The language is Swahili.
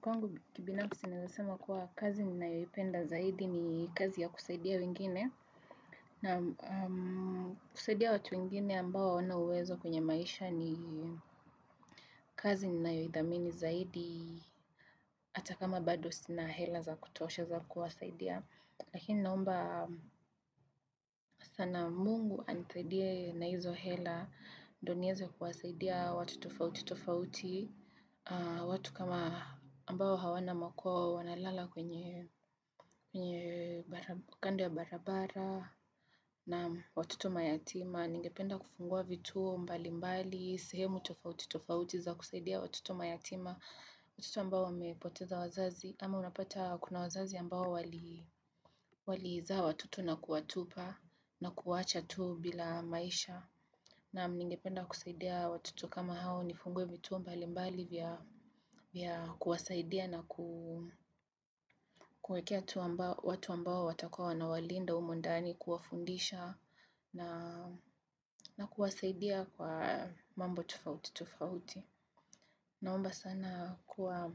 Kwa ngu kibinamu sinazasema kuwa kazi ni naiwipenda zaidi ni kazi ya kusaidia wingine. Na kusaidia watu wingine ambao wana uwezo kwenye maisha ni kazi ni naiwithamini zaidi. Ata kama badu sina hela za kutoshe za kuwasaidia. Lakini naomba sana mungu anithidia na hizo hela ndo nieze kuwasaidia watu tufaoti tufaoti. Watu kama ambao hawana makuwa wanalala kwenye kando ya barabara na watoto mayatima ningependa kufungua vituo mbali mbali, sehemu tofauti tofauti za kusaidia watuto mayatima watoto ambao wamepoteza wazazi, ama unapata kuna wazazi ambao waliiza watoto na kuwatupa na kuwacha tu bila maisha na ningipenda kusaidia watoto kama hao nifungwe vituo mbali mbali vya kuwasaidia na kuwekea watu ambao watakawa na walinda umundani kuafundisha na kuwasaidia kwa mambo tufauti tufauti. Naomba sana kuwa